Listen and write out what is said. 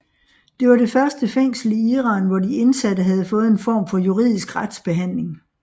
Det var det første fængsel i Iran hvor de indsatte havde fået en form for juridisk retsbehandling